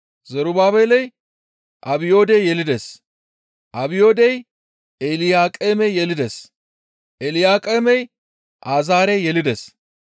Zerubaabeley Abiyoode yelides; Abiyoodey Elyaaqeeme yelides; Elyaaqeemey Azaare yelides;